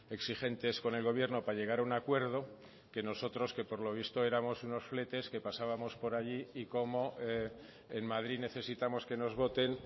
exigentes con el gobierno para llegar a un acuerdo que nosotros que por lo visto éramos unos fletes que pasábamos por allí y como en madrid necesitamos que nos voten